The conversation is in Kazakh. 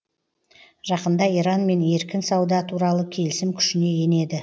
жақында иранмен еркін сауда туралы келісім күшіне енеді